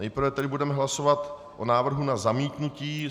Nejprve tedy budeme hlasovat o návrhu na zamítnutí.